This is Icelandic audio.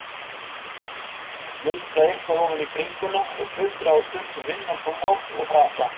Muldra eitthvað ofan í bringuna og tuldra á stundum innantóm orð og frasa.